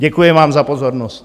Děkuji vám za pozornost.